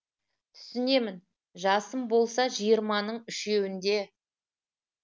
түсінемін жасым болса жиырманың үшеуінде